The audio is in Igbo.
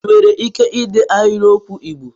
Ị nwere ike dee ahịrịokwu Igbo?